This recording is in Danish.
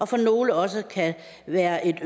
for nogle også kan være et